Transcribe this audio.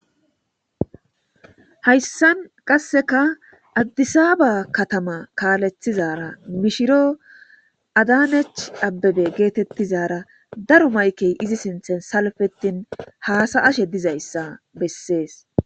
hayssan qasseka addisaaba katama kaalethizara mishiro adanech abbebe geetettizara daro maykey izi sinthen salfetin haasa ashe dizayssa bessees